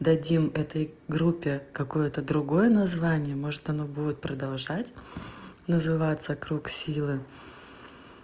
дадим этой группе какое-то другое название может оно будет продолжать называться круг силы